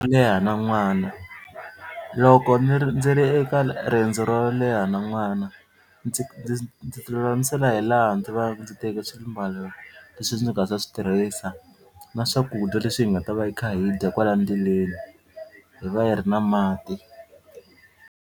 Leha na n'wana loko ni ri ndzi ri eka riendzo ro leha na n'wana ndzi ndzi ndzi ti lulamisela hi laha ndzi va ndzi teke swimbalo leswi ndzi nga ta swi tirhisa na swakudya leswi hi nga ta va hi kha hi dya kwala ndleleni hi va hi ri na mati.